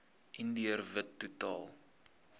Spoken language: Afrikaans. indiër wit totaal